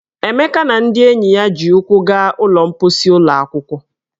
Emeka na ndị enyi ya ji ụkwụ gaa ụlọ mposi ụlọ akwụkwọ.